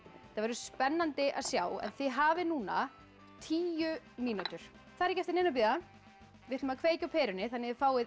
þetta verður spennandi að sjá en þið hafið núna tíu mínútur það er ekki eftir neinu að bíða við ætlum að kveikja á perunni þannig að þið fáið